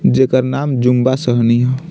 जेकर नाम जुम्बा सहनी ह।